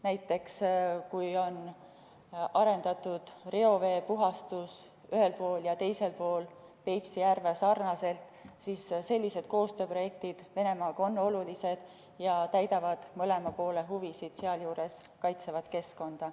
Näiteks, kui on arendatud reoveepuhastust ühel pool ja teisel pool Peipsi järve sarnaselt, siis sellised koostööprojektid Venemaaga on olulised ja täidavad mõlema poole huvisid ning sealjuures kaitsevad keskkonda.